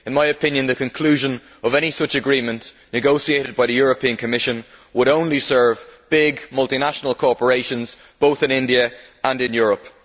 In my opinion, the conclusion of any such agreement negotiated by the European Commission would only serve big multinational corporations, both in India and in Europe.